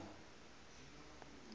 itsani